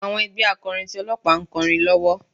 Àwọn ẹgbẹ́ akọrin ti Ọlọ́pàá ń kọrin lọ́wọ́.